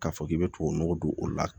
K'a fɔ k'i bɛ tubabu nɔgɔ don o la